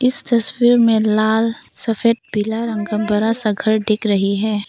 इस तस्वीर में लाल सफेद पीला रंग का बड़ा सा घर दिख रही है।